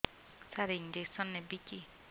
ସାର injection ନେବିକି